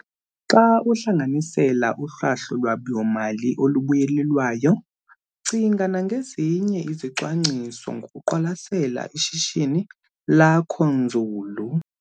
Xa uhlanganisela uhlahlo lwabiwo-mali olubuyelelwayo cinga nangezinye izicwangciso ngokuqwalasela ishishini lakho nzulu.